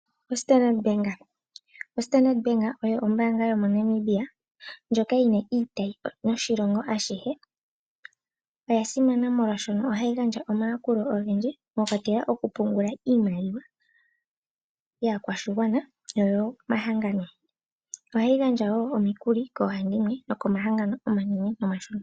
Standard bank ombaanga yomoNamibia ndjoka yina iitayi oshilongo ashihe. Oya simana molwaashono ohaya gandja omayakulo ogendji mwakwatelwa okupungula iimaliwa yaakwashigwana noyomangano. Ohayi gandja wo omikuli koohandimwe nokomahangano omanene nomashona.